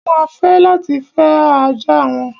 Wọ́n ma fẹ́ láti fẹ́ ajá wọn.